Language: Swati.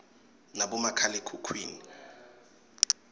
nabomakhale khukhwini